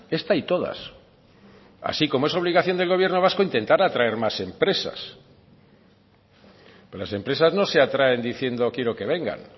esta y todas así como es obligación del gobierno vasco intentar atraer más empresas las empresas no se atraen diciendo quiero que vengan